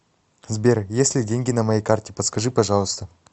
сбер есть ли деньги на моей карте подскажи пожалуйста